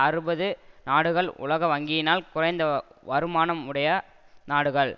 அறுபது நாடுகள் உலக வங்கியினால் குறைந்த வருமானமுடைய நாடுகள்